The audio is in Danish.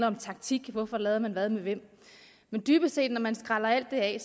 om taktik hvorfor lavede man hvad med hvem men dybest set når man skræller alt det af